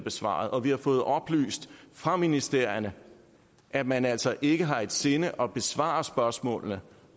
besvaret og vi har fået oplyst fra ministerierne at man altså ikke har i sinde at besvare spørgsmålene